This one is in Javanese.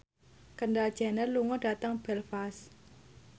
Kendall Jenner lunga dhateng Belfast